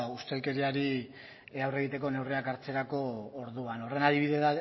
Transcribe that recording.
ustelkeriari aurre egiteko neurriak hartzerako ordua horren adibide